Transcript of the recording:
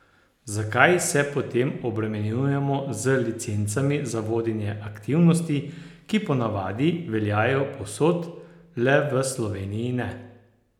Zakaj se potem obremenjujemo z licencami za vodenje aktivnosti, ki ponavadi veljajo povsod le v Sloveniji ne?